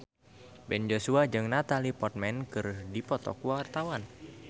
Ben Joshua jeung Natalie Portman keur dipoto ku wartawan